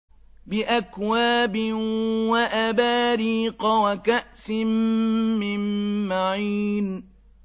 بِأَكْوَابٍ وَأَبَارِيقَ وَكَأْسٍ مِّن مَّعِينٍ